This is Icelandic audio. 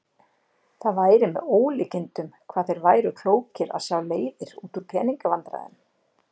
Það væri með ólíkindum hvað þeir væru klókir að sjá leiðir út úr pening- vandræðum.